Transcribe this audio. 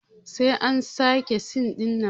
Sai an sake sin ɗinnan